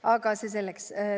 Aga see selleks.